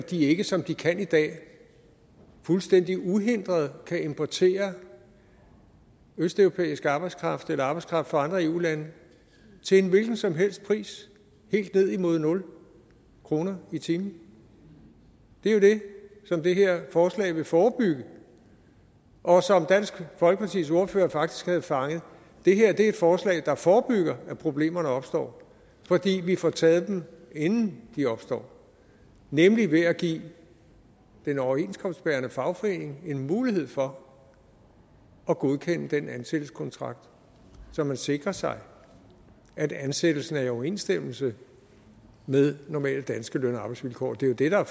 at de ikke som de kan i dag fuldstændig uhindret kan importere østeuropæisk arbejdskraft eller arbejdskraft fra andre eu lande til en hvilken som helst pris helt ned imod nul kroner i timen det er jo det som det her forslag vil forebygge og som dansk folkepartis ordfører faktisk havde fanget det her er et forslag der forebygger at problemerne opstår fordi vi får taget dem inden de opstår nemlig ved at give den overenskomstbærende fagforening en mulighed for at godkende den ansættelseskontrakt så man sikrer sig at ansættelsen er i overensstemmelse med normale danske løn og arbejdsvilkår det er